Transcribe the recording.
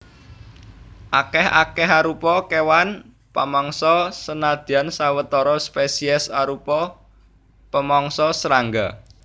Akèh akéarupa kéwan pamangsa senadyan sawetara spesiés arupa pamangsa srangga